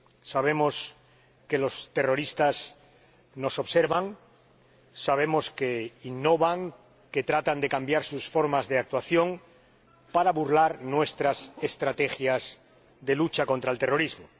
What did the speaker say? Sabemos que los terroristas nos observan, sabemos que innovan, que tratan de cambiar sus formas de actuación para burlar nuestras estrategias de lucha contra el terrorismo.